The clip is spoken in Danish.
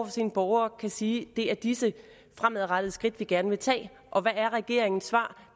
sine borgere kan sige at det er disse fremadrettede skridt man gerne vil tage hvad er regeringens svar